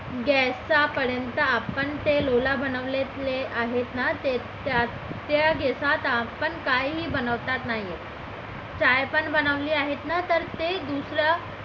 gas चा पर्यंत आपण ते लोला बनवलेले आहेत ना त्या gas आपण काही काही बनवता नाही येत काय पण बनवली आहे ना तर ते दुसऱ्या